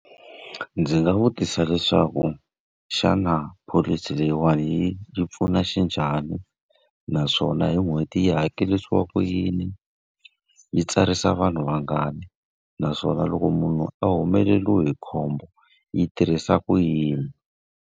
Ndzi nga vutisa leswaku xana pholisi leyiwani yi yi pfuna xinjhani? Naswona hi n'hweti yi hakerisiwa ku yini, yi tsarisa vanhu vangani, naswona loko munhu a humeleriwe hi khombo yi tirhisa ku yini?